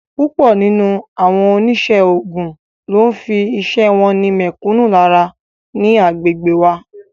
Púpọ̀ nínú àwọn onísẹ́ ogún ló ń fi iṣẹ́ wọn ni mẹ̀kúnnù lára ní agbègbè wa